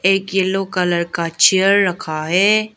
एक yellow colour का chair रखा है।